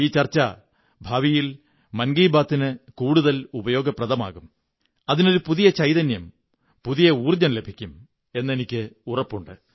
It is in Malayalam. ഈ ചര്ച്ച ഭാവിയിൽ മൻ കീ ബാത്ത് ന് കൂടുതൽ ഉപയോഗപ്രദമാകും അതിനൊരു പുതിയ ചൈതന്യം പുതിയ ഊര്ജ്ജംു ലഭിക്കും എന്നെനിക്കുറപ്പുണ്ട്